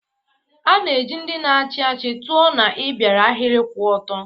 A na-eji ndị na-achị achị tụọ na ịbịaru ahịrị kwụ ọtọ.